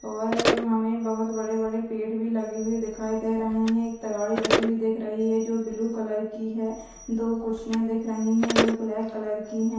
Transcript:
और हमे बहुत बड़े बड़े पेड़ भी लगे हुए दिखाई दे रहे है एक तगारी रखी हुई दिख रही है जो ब्लू कलर की है दो कुर्सियाँ दिख रही है जो ब्लैक कलर की है।